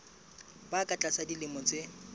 ba ka tlasa dilemo tse